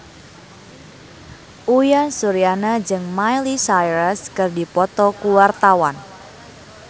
Uyan Suryana jeung Miley Cyrus keur dipoto ku wartawan